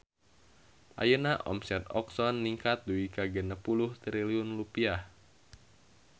Ayeuna omset Oxone ningkat dugi ka 60 triliun rupiah